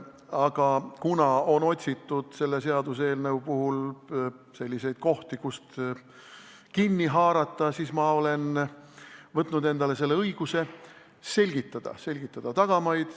Aga kuna sellest seaduseelnõust on otsitud kohti, kust kinni haarata, siis ma olen võtnud endale õiguse selgitada, selgitada tagamaid.